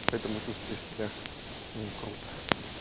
поэтому чувствую себя не круто